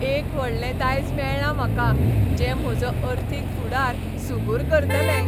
एक व्हडलें दायज मेळ्ळां म्हाका जें म्हजो अर्थीक फुडार सुगूर करतलें.